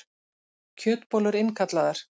Kjötbollur innkallaðar